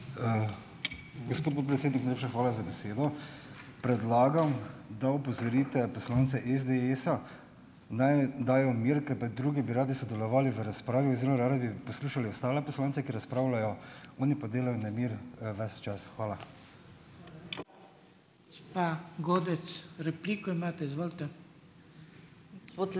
Gospod podpredsednik, najlepša hvala za besedo. Predlagam, da opozorite poslance SDS-a, naj dajo mir, ker pa drugi bi radi sodelovali v razpravi oziroma radi bi poslušali ostale poslance, ki razpravljajo, oni pa delajo nemir, ves čas. Hvala.